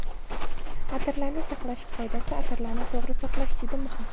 Atirlarni saqlash qoidasi Atirlarni to‘g‘ri saqlash juda muhim.